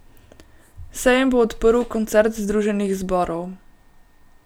Sejem bo odprl koncert združenih zborov.